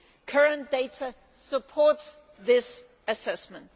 Current data supports this assessment.